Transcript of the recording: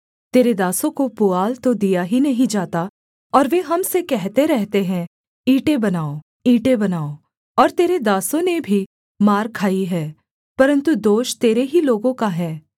तेरे दासों को पुआल तो दिया ही नहीं जाता और वे हम से कहते रहते हैं ईंटें बनाओ ईंटें बनाओ और तेरे दासों ने भी मार खाई है परन्तु दोष तेरे ही लोगों का है